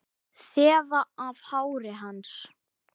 Þefa af hári hans.